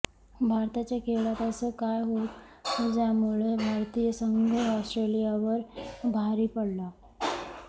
भारताच्या खेळात असं काय होत ज्यामुळे भारतीय संघ ऑस्ट्रेलियावर भारी पडला